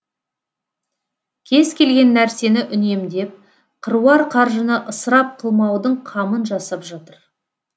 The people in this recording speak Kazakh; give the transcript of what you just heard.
кез келген нәрсені үнемдеп қыруар қаржыны ысырап қылмаудың қамын жасап жатыр